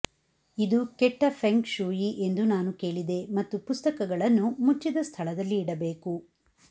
ಇದು ಕೆಟ್ಟ feng shui ಎಂದು ನಾನು ಕೇಳಿದೆ ಮತ್ತು ಪುಸ್ತಕಗಳನ್ನು ಮುಚ್ಚಿದ ಸ್ಥಳದಲ್ಲಿ ಇಡಬೇಕು